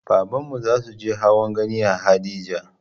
Babanmu zasuje hawan gani a haɗeja